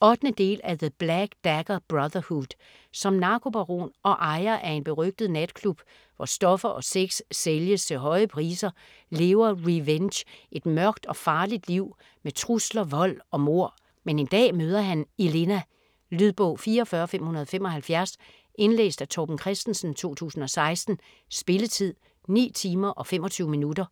8. del af The black dagger brotherhood. Som narkobaron og ejer af en berygtet natklub hvor stoffer og sex sælges til høje priser, lever Rehvenge et mørkt og farligt liv med trusler, vold og mord. Men en dag møder han Ehlena. Lydbog 44575 Indlæst af Torben Christensen, 2016. Spilletid: 9 timer, 25 minutter.